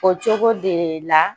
O cogo de la